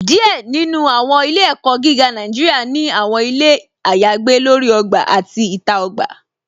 Díẹ̀ nínú àwọn ilẹ̀-ẹ̀kó̩ gígá Nàìjíríà ni àwọn ilẹ̀ ayagbè lórí ògbà àti ìta ògbà.